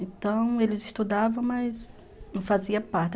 Então, eles estudavam, mas não faziam parte.